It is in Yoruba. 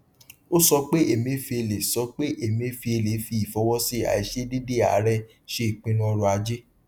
ó sọ pé emefiele sọ pé emefiele fi ìfọwọsí àìṣedéédé aàrẹ ṣe ìpinnu ọrọajé